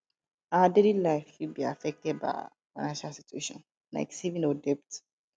our daily life fit be affected by our financial situation like saving or debt